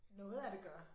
Noget af det gør